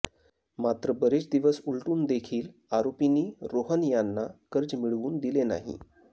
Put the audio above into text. मात्र बरेच दिवस उलटून देखील आरोपींनी रोहन यांना कर्ज मिळवून दिले नाही